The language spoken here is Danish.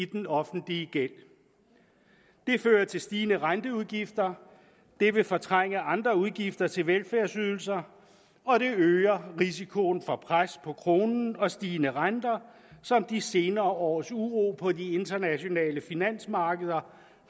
den offentlige gæld det fører til stigende renteudgifter det vil fortrænge andre udgifter til velfærdsydelser og det øger risikoen for pres på kronen og stigende renter som de senere års uro på de internationale finansmarkeder